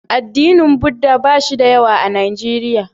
Addinin Buddha ba shi da yawa a Nijeriya.